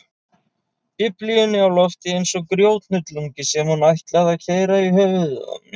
Biblíunni á lofti eins og grjóthnullungi sem hún ætlaði að keyra í höfuðið á mér.